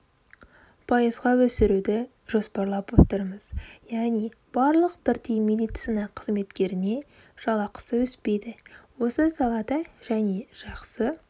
пайызға өсіруді жоспарлап отырмыз яғни барлық бірдей медицина қызметкеріне жалақысы өспейді осы салада және жақсы